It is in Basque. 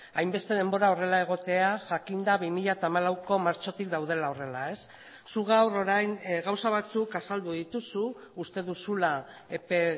hainbeste denbora horrela egotea jakinda bi mila hamalauko martxotik daudela horrela zu gaur orain gauza batzuk azaldu dituzu uste duzula epe